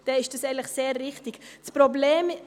Ich habe mit dem Antrag folgendes Problem: